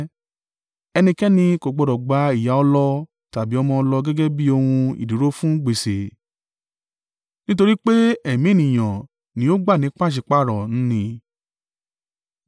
Ẹnikẹ́ni kò gbọdọ̀ gba ìyá ọlọ tàbí ọmọ ọlọ gẹ́gẹ́ bí ohun ìdúró fún gbèsè, nítorí pé ẹ̀mí ènìyàn ni ó gbà ní pàṣípàrọ̀ n nì.